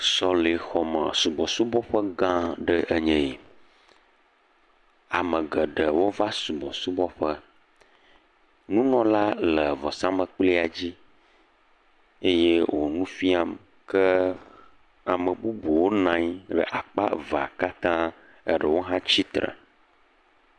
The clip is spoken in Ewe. Sɔlexɔme subɔsubɔƒe gã aɖee nye esia, ame geɖewo va subɔsubɔ ƒe, nunɔla le vɔsamlikpuia dzi eye wòle nu fiam ke amebubuwo nɔ anyi, akpa evea katã, eɖewo hã tsitre.